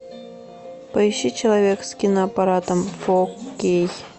поищи человек с киноаппаратом фо кей